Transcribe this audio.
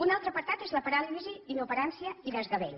un altre apartat és la paràlisi inoperància i desgavell